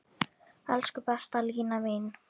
Elsku besta Lína mín.